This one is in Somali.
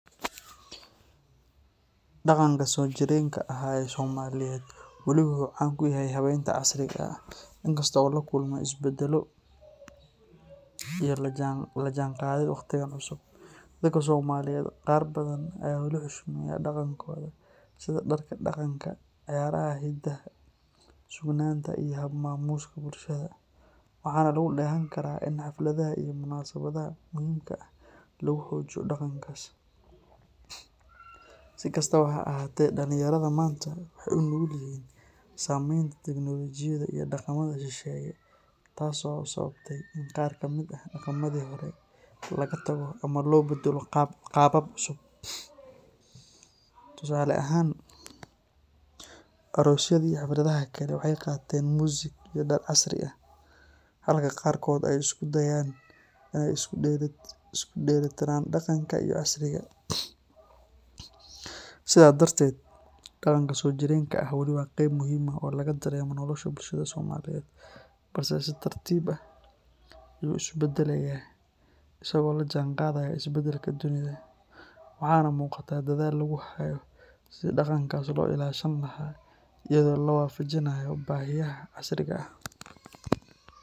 Dhaqanka soo jireenka ah ee Soomaaliyeed weli wuu caan ku yahay habeynta casriga ah, inkastoo uu la kulmay isbeddelo iyo la jaanqaadid wakhtigan cusub. Dadka Soomaaliyeed qaar badan ayaa wali xushmeeya dhaqankooda sida dharka dhaqanka, ciyaaraha hiddaha, suugaanta iyo hab-maamuuska bulshada, waxaana laga dheehan karaa in xafladaha iyo munaasabadaha muhiimka ah lagu xoojiyo dhaqankaas. Si kastaba ha ahaatee, dhalinyarada maanta waxay u nugul yihiin saameynta teknolojiyadda iyo dhaqamada shisheeye taas oo sababtay in qaar ka mid ah dhaqamadii hore laga tago ama loo beddelo qaabab cusub. Tusaale ahaan, aroosyada iyo xafladaha kale waxay qaateen muusig iyo dhar casri ah, halka qaarkood ay isku dayayaan inay isu dheelli tiraan dhaqanka iyo casriga. Sidaa darteed, dhaqanka soo jireenka ah weli waa qayb muhiim ah oo laga dareemo nolosha bulshada Soomaaliyeed, balse si tartiib ah ayuu isu beddelayaa isagoo la jaanqaadaya isbeddelka dunida, waxaana muuqata dadaal lagu hayo sidii dhaqankaas loo ilaashan lahaa iyadoo la waafajinayo baahiyaha casriga ah.